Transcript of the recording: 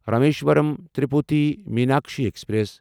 Rameswaram Tirupati Meenakshi express